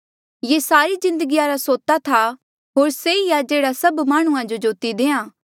से सारी जिन्दगीया रा सोता था होर से ई आ जेह्ड़ा सभ माह्णुं जो जोती देआ